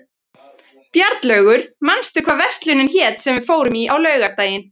Bjarnlaugur, manstu hvað verslunin hét sem við fórum í á laugardaginn?